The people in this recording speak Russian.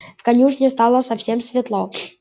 в конюшне стало совсем светло